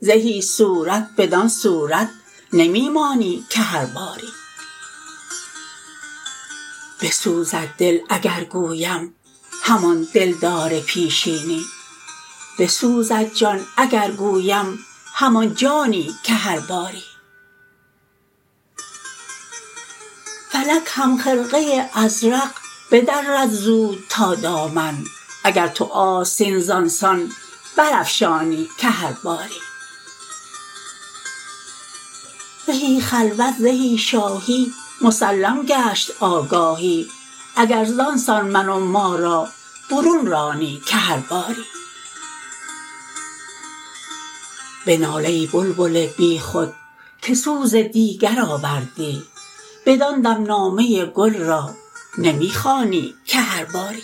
زهی صورت بدان صورت نمی مانی که هر باری بسوزد دل اگر گویم همان دلدار پیشینی بسوزد جان اگر گویم همان جانی که هر باری فلک هم خرقه ازرق بدرد زود تا دامن اگر تو آستین زان سان برافشانی که هر باری زهی خلوت زهی شاهی مسلم گشت آگاهی اگر زان سان من و ما را برون رانی که هر باری بنال ای بلبل بیخود که سوز دیگر آوردی بدان دم نامه گل را نمی خوانی که هر باری